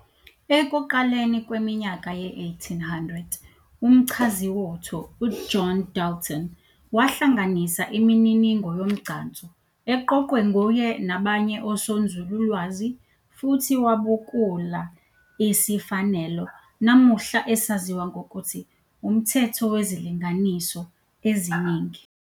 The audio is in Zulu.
Ekuqaleni kweminyaka ye-1800, umchaziwotho u-John Dalton wahlanganisa imininingo yomgcanso eqoqwe nguye nabanye osonzululwazi futhi wavubukula isifanelo namuhla esaziwa ngokuthi "umthetho wezilinganiso eziningi".